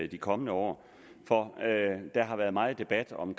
de kommende år for der har været meget debat om